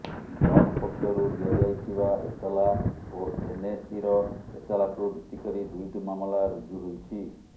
block ପକ୍ଷରୁ ଦିଆଯାଇଥିବା ଏତଲା ଓ ଏନ୍ଏସିର ଏତଲାକୁ ଭିତ୍ତି କରି ଦୁଇଟି ମାମଲା ରୁଜୁ ହୋଇଛି